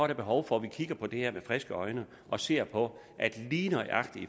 der behov for at vi kigger på det her med friske øjne og ser på at lige nøjagtig i